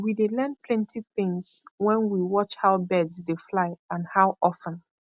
we dey learn plenty things when we watch how birds dey fly and how of ten